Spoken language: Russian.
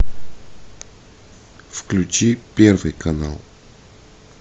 включи первый канал